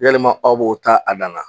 Yalima aw b'o ta a dan na.